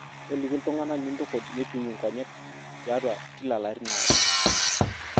toliki iltung'anak nintukuj meipimi inkonyek tiatwa kila ilarin aare